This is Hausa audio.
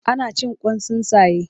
Ana cin Kwan tsuntsaye